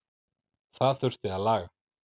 Það þurfi að laga.